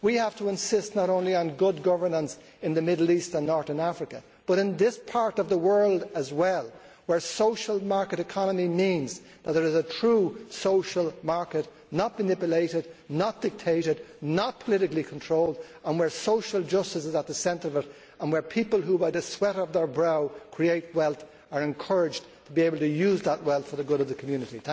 We have to insist not only on good governance in the Middle East and Northern Africa, but in this part of the world as well, where social market economy means that there is a true social market not manipulated, not dictated, not politically controlled and where social justice is at its centre and where people who, by the sweat of their brow, create wealth, are encouraged to be able to use that wealth for the good of the community.